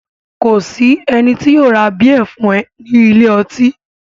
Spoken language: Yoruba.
Kò ní sí ẹni tí yóò ra bíẹ̀ fún ẹ ní ilé ọtí